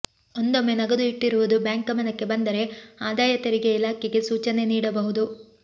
ಒಂದೊಮ್ಮೆ ನಗದು ಇಟ್ಟಿರುವುದು ಬ್ಯಾಂಕ್ ಗಮನಕ್ಕೆ ಬಂದರೆ ಆದಾಯ ತೆರಿಗೆ ಇಲಾಖೆಗೆ ಸೂಚನೆ ನೀಡಬಹುದು